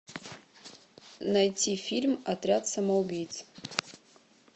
найти фильм отряд самоубийц